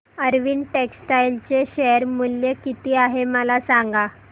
Arvind textile चे share मूल्य किती आहे मला सांगा